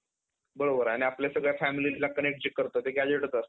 बरोबर आहे. आपल्या सगळ्या familyला connect करतो ते gazette